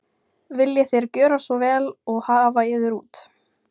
Viljið þér gjöra svo vel og hafa yður út.